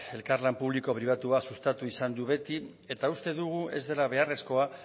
elkarlan publiko pribatua sustatu izan du beti eta uste dugu ez dela beharrezkoa